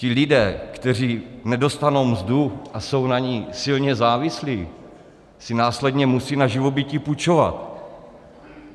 Ti lidé, kteří nedostanou mzdu a jsou na ní silně závislí, si následně musí na živobytí půjčovat.